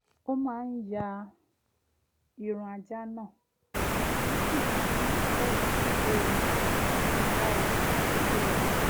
ó máa ń ya irun ajá náà ó sì máa ń tẹ́tí sí ohùn atunilára kó tó lọ sùn